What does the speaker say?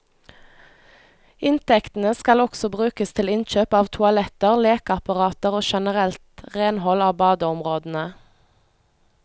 Inntektene skal også brukes til innkjøp av toaletter, lekeapparater og generelt renhold av badeområdene.